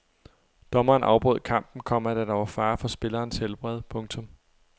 Dommeren afbrød kampen, komma da der var fare for spillernes helbred. punktum